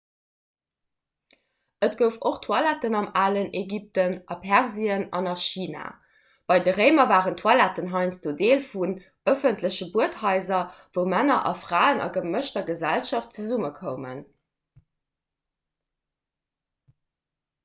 et gouf och toiletten am alen ägypten a persien an a china bei den réimer waren toiletten heiansdo deel vun ëffentleche buedhaiser wou männer a fraen a gemëschter gesellschaft zesummekoumen